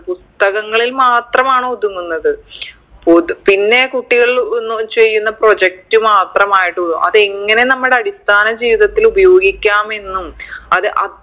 പുസ്തകങ്ങളിൽ മാത്രമാണ് ഒതുങ്ങുന്നത് പൊതു പിന്നെ കുട്ടികൾ ഒന്നു ചെയ്യുന്ന project മാത്രമായിട്ടുള്ളു അതെങ്ങനെ നമ്മടെ അടിസ്ഥാന ജീവിതത്തില് ഉപയോഗിക്കാമെന്നും അത് അഹ്